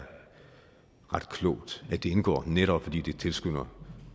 ret klogt at det indgår netop fordi det tilskynder